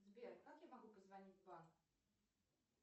сбер как я могу позвонить в банк